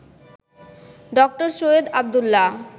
ড. সৈয়দ আবদুল্লাহ